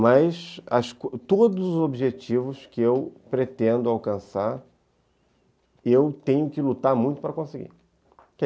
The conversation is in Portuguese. Mas todos os objetivos que eu pretendo alcançar, eu tenho que lutar muito para conseguir.